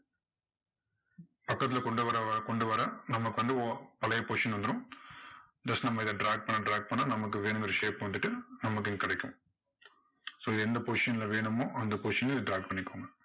வட்டத்துல கொண்டு வர கொண்டு வர நமக்கு வந்து ஒ~பழைய position வந்துரும் just நம்ம இதை drag பண்ண drag பண்ண நமக்கு வேணுங்கற shape உ வந்துட்டு நமக்கு இங்க கிடைக்கும் so எந்த position ல வேணுமோ அந்த position ல இதை drag பண்ணிக்கோங்க.